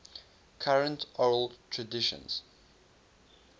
current oral traditions